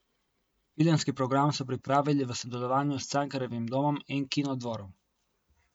Filmski program so pripravili v sodelovanju s Cankarjevim domom in Kinodvorom.